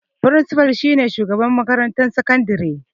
Frinsifa shi ne shugaban makarantar sakandare.